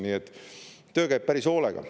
Nii et töö käib päris hoolega.